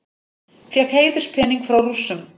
Fékk heiðurspening frá Rússum